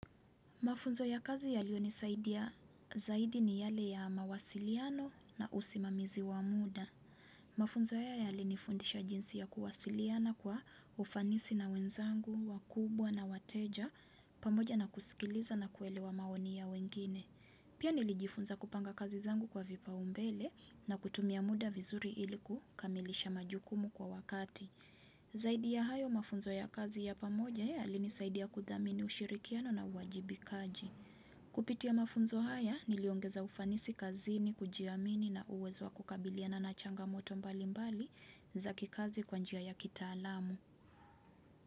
Mafunzo ya kazi yaliyonisaidia zaidi ni yale ya mawasiliano na usimamizi wa muda. Mafunzo haya yalinifundisha jinsi ya kuwasiliana kwa ufanisi na wenzangu, wakubwa na wateja, pamoja na kusikiliza na kuelewa maoni ya wengine. Pia nilijifunza kupanga kazi zangu kwa vipaumbele na kutumia muda vizuri ilikukamilisha majukumu kwa wakati. Zaidi ya hayo, mafunzo ya kazi ya pamoja yalinisaidia kuthamini ushirikiano na uwajibikaji Kupitia mafunzo haya niliongeza ufanisi kazini, kujiamini na uwezo wa kukabiliana na changamoto mbali mbali zakikazi kwa njia ya kitaalamu.